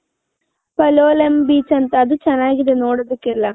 beach ಅದು ಚೆನ್ನಾಗಿದೆ ನೋಡೋದಿಕ್ಕೆ ಎಲ್ಲಾ .